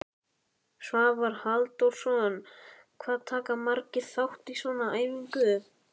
Svavar Halldórsson: Hvað taka margir þátt í svona æfingu?